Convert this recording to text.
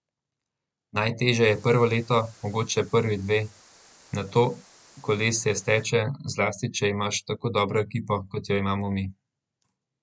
Najtežje je prvo leto, mogoče prvi dve, nato kolesje steče, zlasti če imaš tako dobro ekipo, kot jo imamo mi.